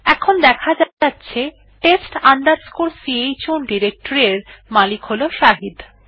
এখন দেখা যাচ্ছে test chown ডিরেকটরি এর মালিক হল শাহিদ